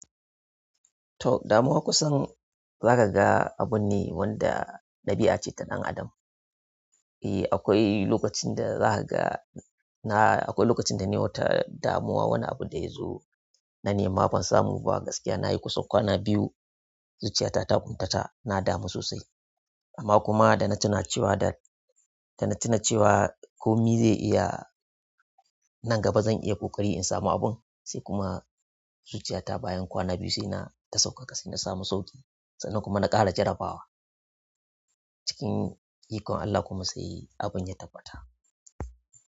To damuwa kusan zaka ga abun ne wanda ɗabi'a ce ta ɗan adam. Eh, akwai lokacin da zaka ga na akwai lokacin da na yi wata damuwa wani abu da ya zo na nema ban samu ba gaskiya nayi kusan kwana biyu zuciyata ta guntata na damu sosai. Amma kuma da na tuna cewa da. Da na tuna cewa komi zai iya nan gaba zan iya ƙoƙari in samu abun sai kuma zuciyata bayan kwana biyu sai na ta sauƙaƙa sai na samu sauƙi sannan kuma na ƙara jarrabawa cikin ikon Allah kuma sai abun ya tabbata.